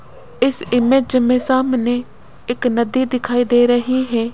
इस इमेज में सामने एक नदी दिखाई दे रही है।